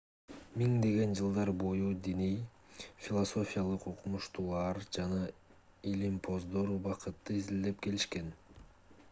миңдеген жылдар бою диний философиялык окумуштуулар жана илимпоздор убакытты изилдеп келишкен